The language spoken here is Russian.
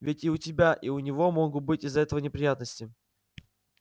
ведь и у тебя и у него могут быть из-за этого неприятности